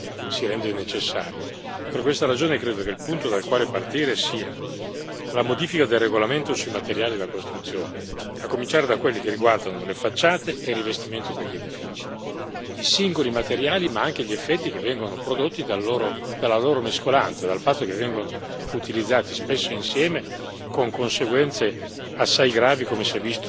Per questa ragione, credo che il punto dal quale partire sia la modifica del regolamento sui materiali da costruzione, a cominciare da quelli che riguardano le facciate e il rivestimento degli edifici i singoli materiali, ma anche gli effetti che vengono prodotti dalla loro mescolanza, dal fatto che vengono utilizzati spesso insieme con conseguenze assai gravi, come si è visto in più di una circostanza.